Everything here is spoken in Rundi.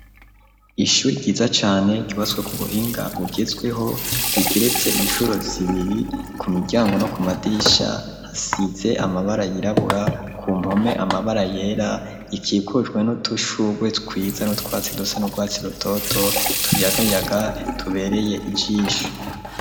Ishure ryiza cane rubatswe ku buhinga bugezweho rigeretse incuro zibiri ku miryango no ku madirisha hasize amabara yirabura ku mpome amabara yera rikikujwe n'udushugwe twiza n'utwatsi dusa n'ubwatsi butoto tuyagayaga tubereye ijisho.